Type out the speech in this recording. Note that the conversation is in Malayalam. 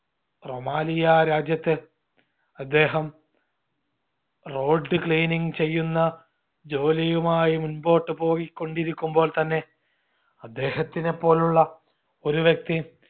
റോമാലിയ രാജ്യത്ത് അദ്ദേഹം road cleaning ചെയ്യുന്ന ജോലിയുമായി മുമ്പോട്ട് പൊയിക്കൊണ്ടിരിക്കുമ്പോൾ തന്നെ അദ്ദേഹത്തിനെ പോലുള്ള ഒരു വ്യക്തി